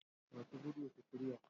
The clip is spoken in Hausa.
Masu gudu su shirya.